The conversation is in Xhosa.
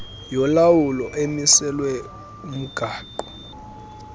yolawulo emiselwe kumgaqo